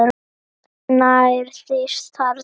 Nærðist þar.